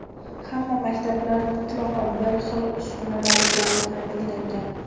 Hamma maktablar mutlaqo bir xil uskunalar bilan ta’minlangan.